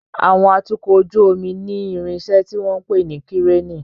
Àwọn atukọ̀ ojú omi ní irinṣẹ́ tí wọ́n ń pè ní Kíréènì.